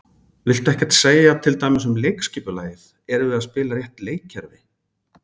Viltu ekkert segja til dæmis um leikskipulagið, erum við að spila rétt leikkerfi?